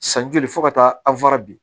San joli fo ka taa